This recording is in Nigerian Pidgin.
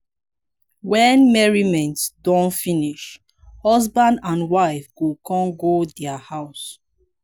wen merriment don finish husband and wife go kon go dia house